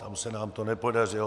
Tam se nám to nepodařilo.